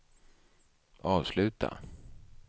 avsluta